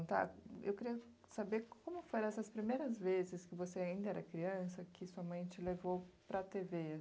Eu queria saber como foram essas primeiras vezes que você ainda era criança que sua mãe te levou para a tê vê.